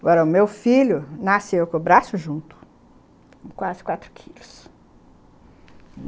Agora, o meu filho nasceu com o braço junto, com quase quatro quilos.